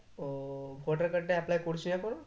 ও voter card টা apply করিস নি এখনো?